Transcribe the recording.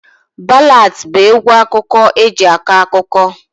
Ballads bụ egwu akụkọ eji akọ akụkọ